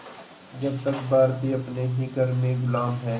जब तक भारतीय अपने ही घर में ग़ुलाम हैं